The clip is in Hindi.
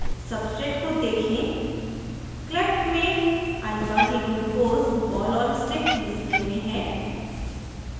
substrate को देखें cleft में alfadglucose ball और stick display में है